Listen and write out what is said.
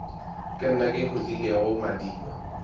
ke nna ke hlotlilego madiba